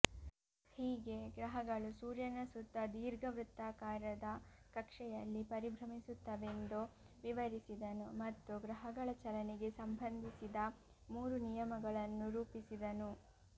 ಹೀಗೆ ಗ್ರಹಗಳು ಸೂರ್ಯನ ಸುತ್ತ ದೀರ್ಘವೃತ್ತಾಕಾರದ ಕಕ್ಷೆಯಲ್ಲಿ ಪರಿಭ್ರಮಿಸುತ್ತವೆಂದು ವಿವರಿಸಿದನು ಮತ್ತು ಗ್ರಹಗಳ ಚಲನೆಗೆ ಸಂಬಂಧಿಸಿದ ಮೂರು ನಿಯಮಗಳನ್ನು ರೂಪಿಸಿದನು